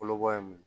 Kolo bɔ ye mun ye